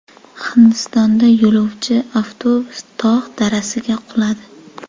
Hindistonda yo‘lovchi avtobusi tog‘ darasiga quladi.